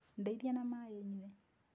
Ndeithia na maaĩ nyue